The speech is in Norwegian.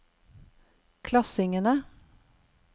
klassingene